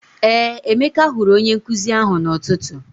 Ee, Emeka hụrụ onye nkụzi ahụ n'ụtụtụ.